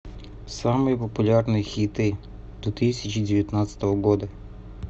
самые популярные хиты две тысячи девятнадцатого года